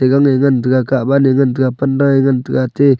gang nge ngan tega kah wan ne ngan tega panda ea ngan tega ate--